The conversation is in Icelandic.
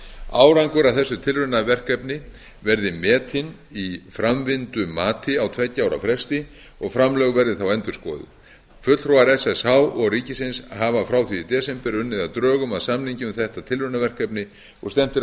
árangur af þessu tilraunaverkefni verði metinn í framvindumati á tveggja ára fresti og framlög verði þá endurskoðuð fulltrúar ssh og ríkisins hafa frá því í desember unnið að drögum að samningi um þetta tilraunaverkefni og stefnt er